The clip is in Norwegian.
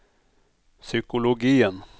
psykologien